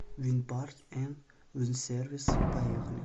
винпарт энд винсервис поехали